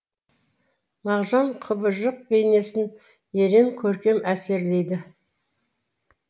мағжан құбыжық бейнесін ерен көркем әсірелейді